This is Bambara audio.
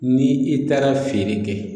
Ni i taara feere kɛ